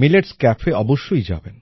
millets cafe অবশ্যই যাবেন